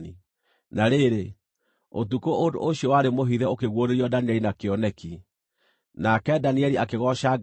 Na rĩrĩ, ũtukũ ũndũ ũcio warĩ mũhithe ũkĩguũrĩrio Danieli na kĩoneki. Nake Danieli akĩgooca Ngai wa igũrũ,